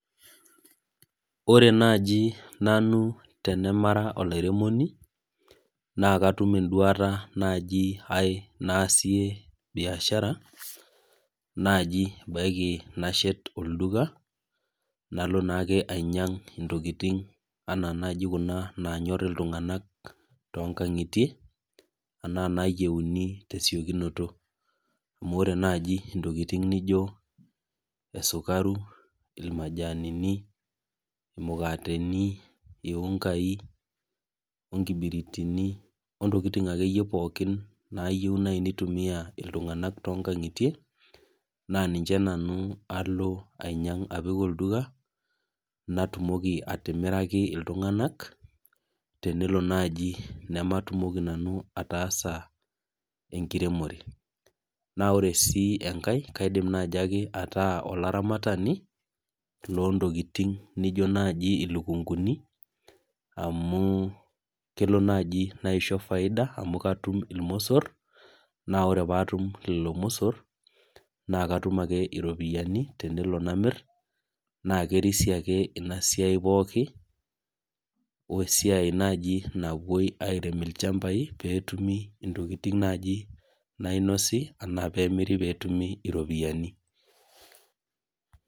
ore naaji nanu tenemara olairemoni naa katum eduata naaji aae naasie biashara naaji ebaiki nashet olduka, nalo naa naaji ake anyiany intokitin enaa kuna nanyo iltung'anak too inkang'ietie enaa inaayieuni tesiokinoto, amu ore naaji intokitin naijio esukari, ilmajanini, imukateni ii ngai inkibiritini wontokitin akeyie pooki, nayieu naaji nitumiya iltung'anak too inkang'itie naa niche nanu ainyangu apik olduka, natumoki atimiraki iltung'anak tenelo naaji nematumoki nanu ataasa enkiremore, ore sii enkae edim naake ataa olaramatani loo intokitin naaijio ilikunkuni amu kelo naaji naisho faida natum ilbosor naa ore pee atum ilmosor naa katum ake iropiyiani, naa kerisio ake inasiai pooki wesiai naaji napuoi airem ichambai pee etumi naaji nainosi pee etumi iropiyiani.